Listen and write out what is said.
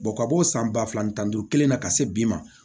ka bɔ san ba fila ni tan ni duuru kelen na ka se bi ma